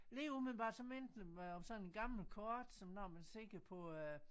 Lige umiddelbart så minder det mig om sådan en gammelt kort som når man ser på